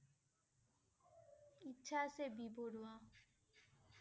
ইচ্ছা আছে বি. বৰুৱা ।